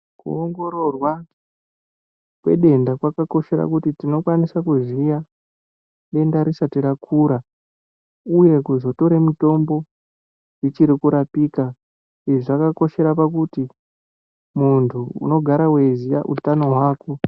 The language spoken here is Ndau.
Kuongororwa kwedenda kwakakoshera kuti tinokwanisa kuziya denda risati rakura uye kuzotora mitombo richiri kurapika izvi zvakakoshera kuti muntu unogara weiziya utano hwako.